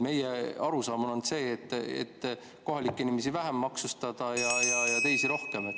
Meie arusaam on see, et kohalikke inimesi tuleks vähem maksustada ja teisi rohkem. .